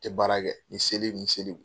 Tɛ baara kɛ ni seli ni seliw